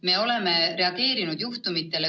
Me oleme juhtumitele reageerinud.